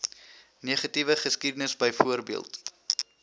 negatiewe geskiedenis byvoorbeeld